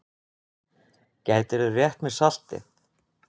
Gætirðu rétt mér saltið?